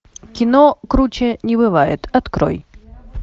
кино круче не бывает открой